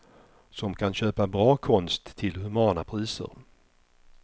Som kan köpa bra konst till humana priser.